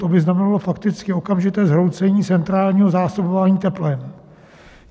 To by znamenalo fakticky okamžité zhroucení centrálního zásobování teplem.